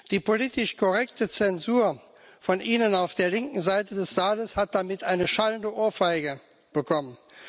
Die politisch korrekte Zensur von Ihnen auf der linken Seite des Saales hat damit eine schallende Ohrfeige bekommen.